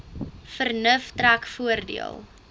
vernuf trek voordeel